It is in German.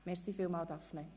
Vielen Dank, Daphné!